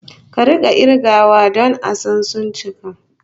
Ka rika kirgawa don a san suncika